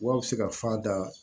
Wa a bɛ se ka fa da